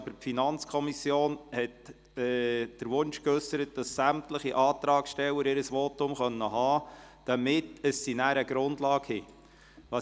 Aber die FiKo hat den Wunsch geäussert, dass sämtliche Antragsteller ihr Votum halten können, damit die FiKo nachher eine Grundlage hat.